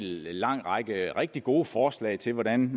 lang række rigtig gode forslag til hvordan